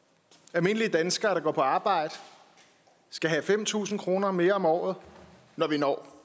almindelige danskere der går på arbejde skal have fem tusind kroner mere om året når vi når